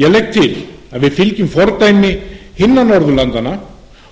ég legg til að við fylgjum fordæmi annarra norðurlanda